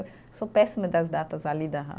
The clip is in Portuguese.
Eu sou péssima das datas ali da